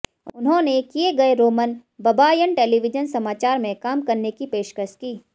उन्होंने किए गए रोमन बबायन टेलीविजन समाचार में काम करने की पेशकश की